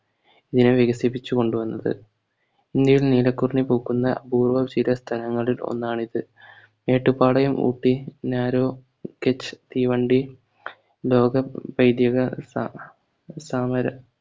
ഇങ്ങനെ വികസിപ്പിച്ചു കൊണ്ടു വന്നത് ഇന്ത്യയിൽ നീലക്കുറിഞ്ഞി പൂക്കുന്ന അപൂർവം ചില സ്ഥലങ്ങളിൽ ഒന്നാണ് ഇത്. മേട്ടുപ്പാളയം ഊട്ടി narrow kitch തീവണ്ടി ലോക പൈഥിക താ താമര